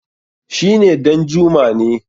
shi ne Danjuma ne